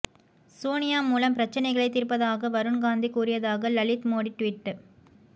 சோனியா மூலம் பிரச்சனைகளை தீர்ப்பதாக வருண் காந்தி கூறியதாக லலித் மோடி ட்வீட்